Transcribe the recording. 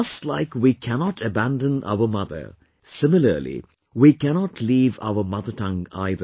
Just like we cannot abandon our mother, similarly, we cannot leave our mother tongue either